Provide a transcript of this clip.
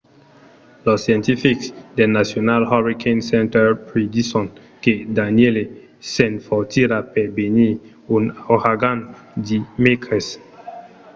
los scientifics del national hurricane center predison que danielle s'enfortirà per venir un auragan dimècres